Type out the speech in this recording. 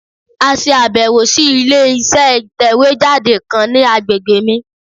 À se àbẹ̀wò sí ilé iṣẹ́ ìtẹ̀wé jáde kan ní agbègbè mi